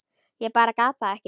Ég bara gat það ekki.